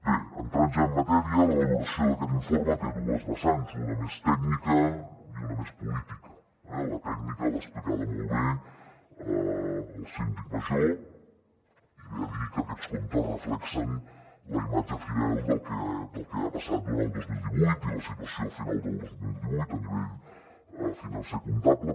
bé entrant ja en matèria la valoració d’aquest informe té dues vessants una de més tècnica i una de més política eh la tècnica l’ha explicada molt bé el síndic major i ve a dir que aquests comptes reflecteixen la imatge fidel del que ha passat durant el dos mil divuit i la situació a final del dos mil divuit a nivell financer comptable